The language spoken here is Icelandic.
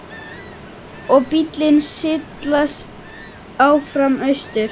Og bíllinn silast áfram austur.